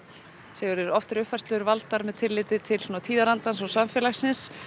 Sigurður oft eru uppfærslur valdar með svona tilliti til tíðarandans og samfélagsins